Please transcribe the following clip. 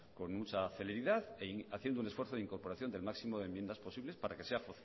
con mucha celeridad y haciendo un esfuerzo de incorporación del máximo de enmiendas posibles para que sea